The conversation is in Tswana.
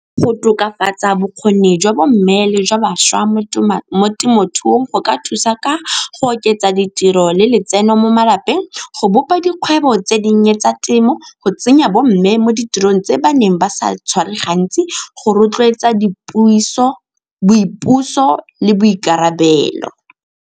Go tokafatsa bokgoni jwa bomme le jwa bašwa mo temothuong go ka thusa ka go oketsa ditiro le letseno mo malapeng, go bopa dikgwebo tse di nnye tsa temo, go tsenya bomme mo ditirong tse ba neng ba sa tshware gantsi go rotloetsa boipuso le boikarabelo.